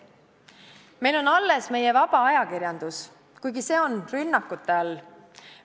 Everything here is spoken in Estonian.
Meil on alles meie vaba ajakirjandus, kuigi see on rünnakute all.